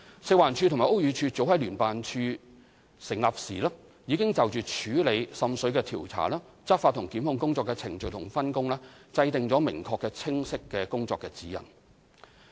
食環署及屋宇署早在成立聯辦處時已就處理滲水的調查、執法及檢控工作的程序及分工制訂明確清晰的工作指引。